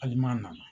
Hali n'a nana